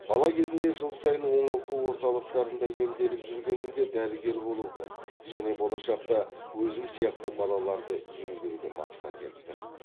бала кезімде жыл сайын оңалту орталықтарында емделіп жүргенімде дәрігер болуды және болашақта өзім сияқты балаларды емдеуді мақсат еттім